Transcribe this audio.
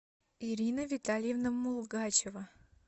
ирина витальевна мулгачева